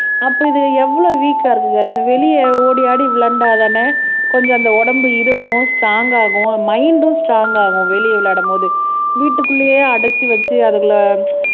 அப்ப இது எவ்வளவு வீக்கா இருக்குங்க இந்த வெளியே ஓடி ஆடி விளையாண்டாதானே கொஞ்சம் அந்த உடம்பு இறுகும் ஸ்ட்ரோங் ஆகும் மைன்ட்ம் ஸ்ட்ரோங் ஆகும் வெளியே விளையாடும்போது வீட்டுக்குள்ளேயே அடைச்சு வச்சு அதுகளை